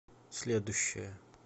следующая